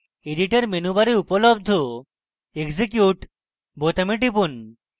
editor menu bar উপলব্ধ execute বোতামে টিপুন